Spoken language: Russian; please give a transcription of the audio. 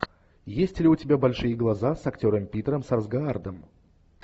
есть ли у тебя большие глаза с актером питером сарсгаардом